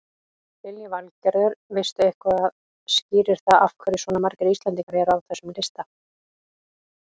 Lillý Valgerður: Veistu eitthvað skýrir það af hverju svona margir Íslendingar eru á þessum lista?